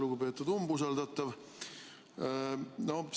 Lugupeetud umbusaldatav!